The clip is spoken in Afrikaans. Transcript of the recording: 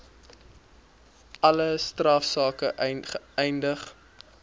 alle strafsake eindig